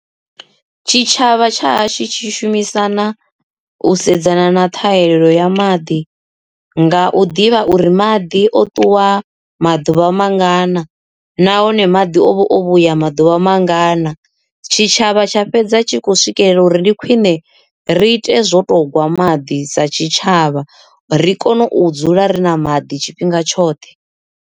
Tshitshavha tsha hashu tshi shumisana u sedzana na ṱhahelelo ya maḓi nga u ḓivha uri maḓi o ṱuwa maḓuvha mangana nahone maḓi o vho vhuya maḓuvha mangana tshitshavha tsha fhedza tshi kho swikelela uri ndi khwine ri ite zwo to gwa maḓi sa tshitshavha ri kone u dzula ri na maḓi tshifhinga tshoṱhe.